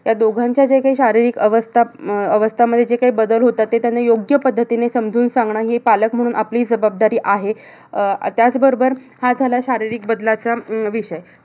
ह्या दोघांच्या ज्या काही शारीरिक अवस्था अं अवस्थांमध्ये जे काही बदल होतात. ते योग्य पद्धतीने समजून सांगणं हे पालक म्हणून आपली जबाबदारी आहे. अह त्याबरोबर, अह हा झाला शारीरिक बदलाचा विषय.